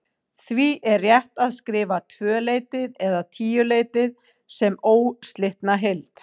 Því er rétt að skrifa tvöleytið eða tíuleytið sem óslitna heild.